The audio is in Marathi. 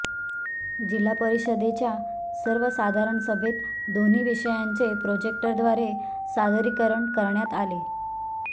जिल्हा परिषदेच्या सर्वसाधारण सभेत दोन्ही विषयांचे प्रोजेक्टरव्दारे सादरीकरण करण्यात आले